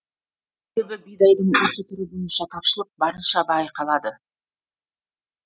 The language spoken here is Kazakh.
себебі бидайдың осы түрі бойынша тапшылық барынша байқалады